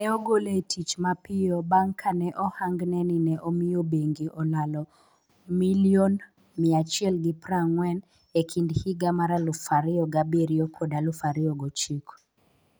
Ne ogole e tich mapiyo bang' ka ne ohangne ni ne omiyo bengi olalo Sh140 million e kind higa 2007 kod 2009.